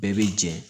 Bɛɛ bɛ jɛ